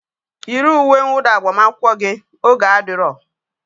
Yiri uwe nwụda agbamakwụkwọ gị! oge adiro